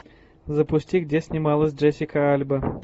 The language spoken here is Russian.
запусти где снималась джессика альба